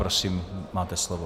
Prosím, máte slovo.